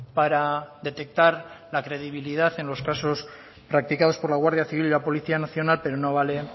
para detectar la credibilidad en los casos practicados por la guardia civil y la policía nacional pero no vale